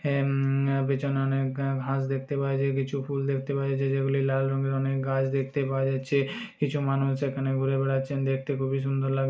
এমম পেছনে অনেক ঘাস দেখতে পাওয়া যায় -- কিছু ফুল দেখতে পাওয়া যাচ্ছে যেগুলি লাল রঙের। অনেক গাছ দেখতে পাওয়া যাচ্ছে। কিছু মানুষ সেখানে ঘুরে বেড়াচ্ছেন। দেখতে খুবই লাগ্--